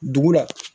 Dugu la